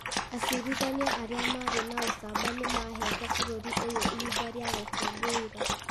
Acirithania arĩa marĩ na ũcamba nĩ maheete bũrũri ũyũ ihinda rĩa gũkũngũĩra.